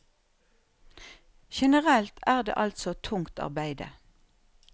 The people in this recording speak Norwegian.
Generelt er det altså tungt arbeide.